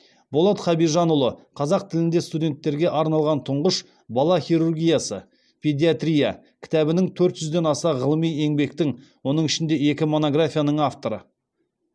болат хабижанұлы қазақ тілінде студенттерге арналған тұңғыш бала хирургиясы педиатрия кітабінің төрт жүзден аса ғылыми еңбектің оның ішінде екі монографияның авторы